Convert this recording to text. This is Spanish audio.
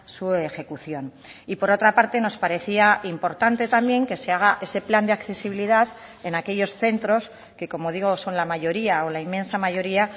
su ejecución y por otra parte nos parecía importante también que se haga ese plan de accesibilidad en aquellos centros que como digo son la mayoría o la inmensa mayoría